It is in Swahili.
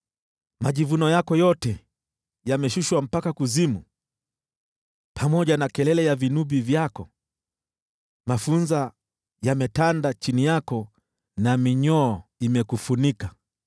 Majivuno yako yote yameshushwa mpaka kuzimu, pamoja na kelele ya vinubi vyako, mafunza yametanda chini yako, na minyoo imekufunika.